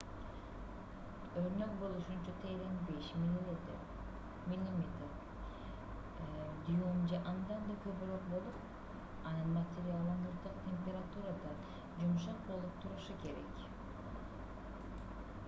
өрнөк болушунча терең 5 мм 1/5 дюйм же андан да көбүрөөк болуп анын материалы муздак температурада жумшак болуп турушу керек